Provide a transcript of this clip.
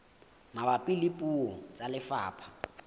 mabapi le puo tsa lefapha